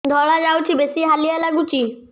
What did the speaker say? ଧଳା ଯାଉଛି ବେଶି ହାଲିଆ ଲାଗୁଚି